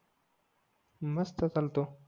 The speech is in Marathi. मस्त चालतो